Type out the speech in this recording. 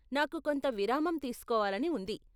నాకు కొంత విరామం తీసుకోవాలని ఉంది .